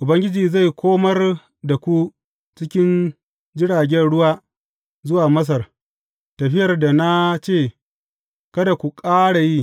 Ubangiji zai komar da ku cikin jiragen ruwa zuwa Masar, tafiyar da na ce kada ku ƙara yi.